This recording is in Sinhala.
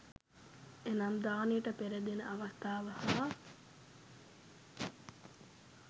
එනම් දානයකට පෙර, දෙන අවස්ථාව හා